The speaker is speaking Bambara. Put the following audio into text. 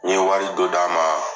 N ye wari do d'a ma